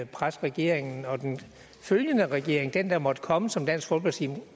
presse regeringen og den følgende regering den der måtte komme og som dansk folkeparti